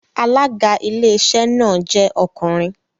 Alága Iléeṣẹ́ náà jẹ́ ọkùnrin